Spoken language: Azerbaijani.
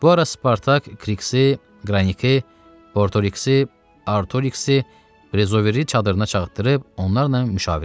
Bu ara Spartak Kiksi, Qranike, Bortoriksi, Artoriksi, Prezoveri çadırına çağırdırıb onlarla müşavirə etdi.